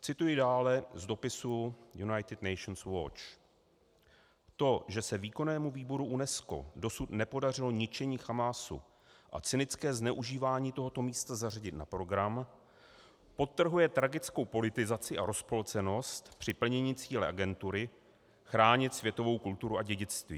Cituji dále z dopisu United nations watch: "To, že se Výkonnému výboru UNESCO dosud nepodařilo ničení Hamásu a cynické zneužívání tohoto místa zařadit na program, podtrhuje tragickou politizaci a rozpolcenost při plnění cíle agentury chránit světovou kulturu a dědictví.